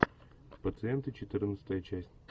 пациенты четырнадцатая часть